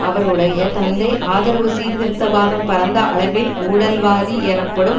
அவருடைய தந்தை ஆதரவு சீர்திருத்த வாதம் பரந்த அளவில் ஊழல்வாதி எனப்படும்